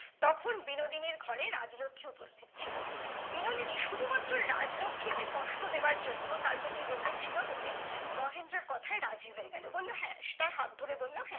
তখন বিনোদিনীর ঘরে রাজ্ লক্ষী উপিস্থিত ছিলো বিনোদিনী শুধুমাত্র রাজ্ লক্ষী কে কষ্ট দেবার জন্য তার প্রতি রেগে ছিলো বলে মহেন্দ্রর কথায় রাজি হয়ে গেলো বললো হ্যাঁ তার হাত ধরে বললো হ্যাঁ